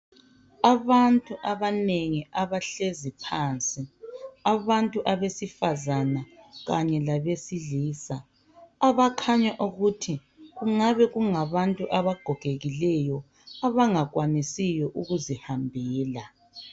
Abantu abanengi abahlezi phansi abantu abesifazana kanye labesilisa abakhanya ukuthi kungabe kungabantu abagogekileyo abangakwanisiyo ukuzihambela.